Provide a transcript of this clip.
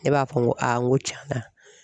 Ne b'a fɔ n ko n ko tiɲɛna